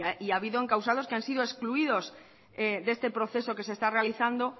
y ha habido encausados que han sido excluidos de este proceso que se está realizando